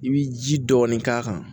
I bi ji dɔɔni k'a kan